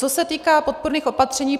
Co se týká podpůrných opatření.